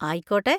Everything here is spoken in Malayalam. ആയിക്കോട്ടെ!